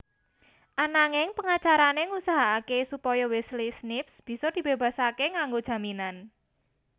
Ananging pangacarané ngusahakaké supaya Wesley Snipes bisa dibebaseké nganggo jaminan